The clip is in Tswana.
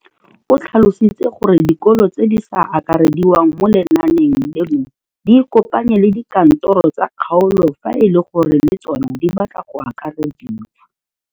O tlhalositse gore dikolo tse di sa akarediwang mo lenaaneng leno di ikopanye le dikantoro tsa kgaolo fa e le gore le tsona di batla go akarediwa.